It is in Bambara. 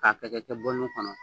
K'a kɛ-kɛ-kɛ kɔnɔ